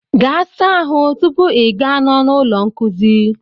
Gaa saa ahụ tupu I gaa n'ọnụ ụlọ nkuzi